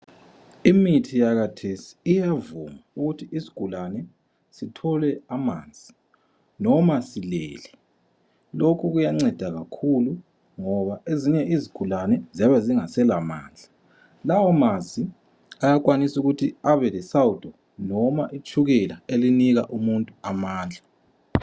Imithi yakathesi iyavuma ukuthi isigulane sithole amanzi noma silele. Lokhu kuyanceda kakhulu ngoba ezinye izigulane ziyabe zingasela mandla. Lawo manzi ayakwanisa ukuthi abelesawudo noma itshukela elinika umuntu amandla.